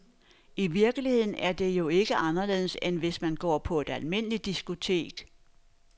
I virkeligheden er det jo ikke anderledes, end hvis man går på et almindeligt diskotek.